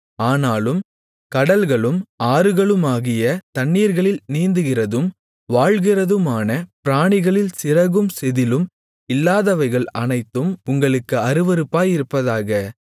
ஆனாலும் கடல்களும் ஆறுகளுமாகிய தண்ணீர்களில் நீந்துகிறதும் வாழ்கிறதுமான பிராணிகளில் சிறகும் செதிளும் இல்லாதவைகள் அனைத்தும் உங்களுக்கு அருவருப்பாயிருப்பதாக